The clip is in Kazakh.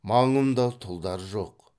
маңымда тұлдар жоқ